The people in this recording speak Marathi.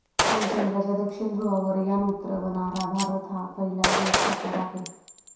पण चंद्राच्या दक्षिण ध्रुवावर यान उतरवणारा भारत हा पहिलाच देश ठरणार आहे.